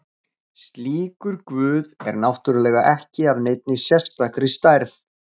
Slíkur guð er náttúrulega ekki af neinni sérstakri stærð.